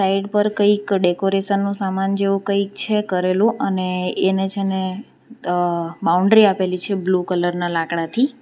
Add પર કંઈક decoration નો સામાન જેવો કંઈક છે કરેલુ અને એને છે ને અહ બાઉન્ડરી આપેલી છે બ્લુ કલર ના લાકડા થી.